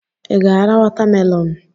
Ị ga-ara watamelonụ?